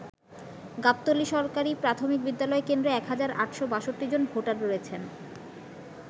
গাবতলী সরকারি প্রাথমিক বিদ্যালয় কেন্দ্রে ১ হাজার ৮৬২ জন ভোটার রয়েছেন।